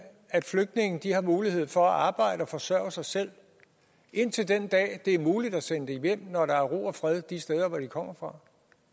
at flygtninge har mulighed for at arbejde og forsørge sig selv indtil den dag det er muligt at sende dem hjem når der er ro og fred de steder hvor de kommer fra